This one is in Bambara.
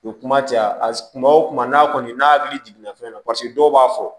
U ye kuma caya kuma o kuma n'a kɔni n'a hakili jiginna fɛn na paseke dɔw b'a fɔ